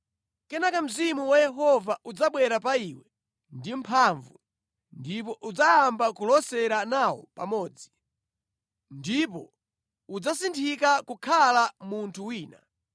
Kenaka Mzimu wa Yehova udzabwera pa iwe ndi mphamvu, ndipo udzayamba kulosera nawo pamodzi. Ndipo udzasinthika kukhala munthu wina.